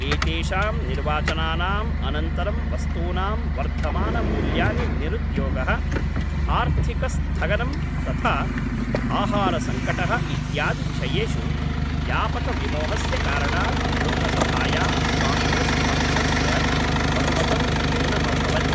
एतेषां निर्वाचनानाम् अनन्तरं वस्तूनां वर्धमानमूल्यानि निरुद्योगः आर्थिकस्थगनम् तथा आहारसङ्कटः इत्यादिविषयेषु व्यापकविमोहस्य कारणात् लोकसभायां काङ्ग्रेस् पक्षस्य बहुमतं न्यूनमभवत्।